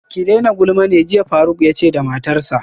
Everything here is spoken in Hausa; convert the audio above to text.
Ki daina gulma ne jiya faruk yace da matarsa